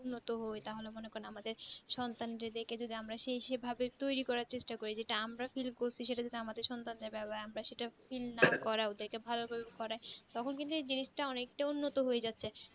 উন্নত হয় তাহলে মনে করেন আমাদের সন্তানদের যদি আমার সেই সেই ভাবে তৈরী করার চেষ্টা করি যেটা আমরা feel করি সেটা যেটা আমাদের সন্তান যাবে আবার আমরা সেটা feel করা ওদাকে ভালো করে করাই তখন কিন্তু এই জিনিসটাই অনেকটাই উন্নত হয়ে যাচ্ছে